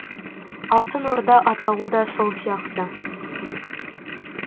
алтын орда атауы да сол сияқты